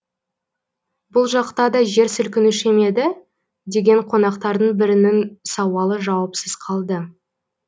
бұл жақта да жер сілкінуші ме еді деген қонақтардың бірінің сауалы жауапсыз қалды